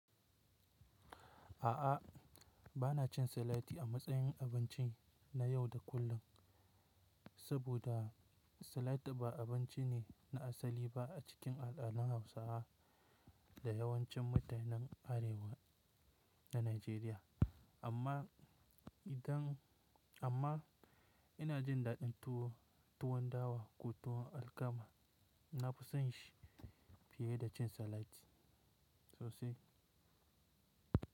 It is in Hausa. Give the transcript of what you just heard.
A'a, ba na cin salati a matsayin abinci na yau da kullum, saboda salati ba abinci ne na asali ba a cikin al'adun Hausawa da yawancin mutanen Arewa na Najeriya. Amma idan amma ina jin daɗin tuwo, tuwon dawa ko tuwon alkama, na fi son shi fiye da cin salati. Sosai.